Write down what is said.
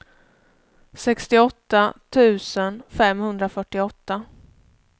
sextioåtta tusen femhundrafyrtioåtta